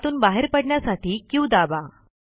त्यातून बाहेर पडण्यासाठी क्यू दाबा